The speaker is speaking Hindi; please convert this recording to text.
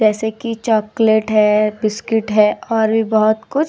जैसे की चॉकलेट है बिस्कुट है और भी बहुत कुछ --